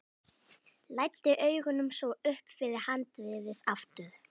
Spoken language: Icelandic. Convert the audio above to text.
Læddi augunum svo upp fyrir handriðið aftur.